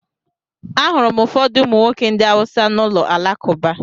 Ahụrụ m ụfọdụ ụmụ nwoke ndị Hausa n’ụlọ alakụba.